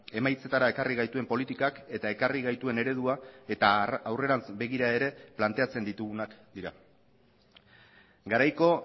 emaitzetara ekarri gaituen politikak eta ekarri gaituen eredua eta aurrerantz begira ere planteatzen ditugunak dira garaiko